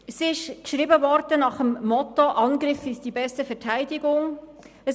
Sie wurde nach dem Motto geschrieben «Angriff ist die beste Verteidigung».